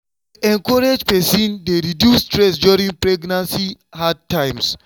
to dey encourage person encourage person dey reduce stress during pregnancy hard times.